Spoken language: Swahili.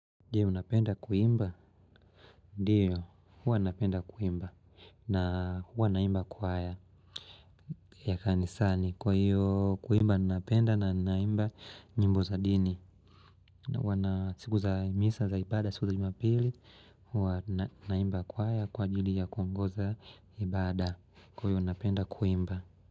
Je, unapenda kuimba? Ndiyo, huwa napenda kuimba na huwa naimba kwaya. Ya kanisani, kwa hiyo kuimba ninapenda na ninaimba nyimbo za dini. Na huwa na, siku za misa za ibada, siku za jumapili, huwa naimba kwaya kwa ajili ya kuongoza ibada. Kwa hiyo unapenda kuimba.